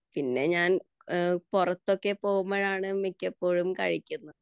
പിന്നെ ഞാൻ പുറത്തൊക്കെ പോവുമ്പോഴാണ് മിക്കപ്പോഴും കഴിക്കുന്നത്